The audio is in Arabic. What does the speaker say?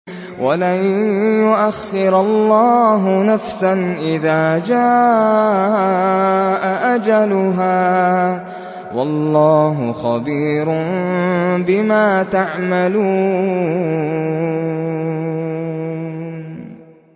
وَلَن يُؤَخِّرَ اللَّهُ نَفْسًا إِذَا جَاءَ أَجَلُهَا ۚ وَاللَّهُ خَبِيرٌ بِمَا تَعْمَلُونَ